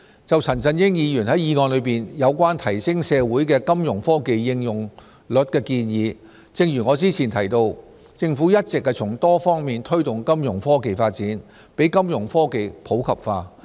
就陳振英議員在議案中有關提升社會的金融科技應用率的建議，正如我早前提到，政府一直從多方面推動金融科技發展，讓金融科技普及化。